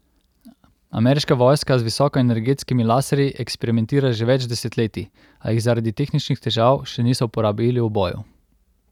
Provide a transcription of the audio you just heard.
Ameriška vojska z visokoenergetskimi laserji eksperimentira že več desetletij, a jih zaradi tehničnih težav še niso uporabili v boju.